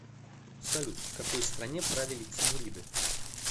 салют в какой стране правили тимуриды